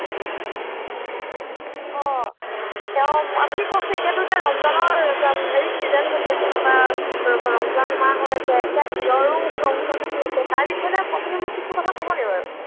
অ, তেওঁ, আপুনি কওকচোন এতিয়া ৰমজানৰ হেৰি season চলি আছে বা ৰমজান মাহ হৈ আছে, এতিয়া ঈদৰো ওচৰ চাপি আহিছে তাৰ বিষয়ে আপুনি মোক কিছু কথা কব নেকি বাৰু?